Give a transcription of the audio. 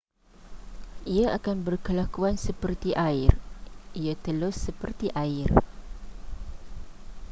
ia akan berkelakuan seperti air ia telus seperti air